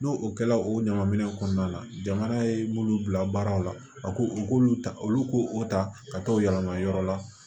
N'o o kɛla o ɲama minɛ kɔnɔna la jamana ye mun bila baaraw la a ko u k'olu ta olu ko o ta ka t'o yɛlɛma yɔrɔ la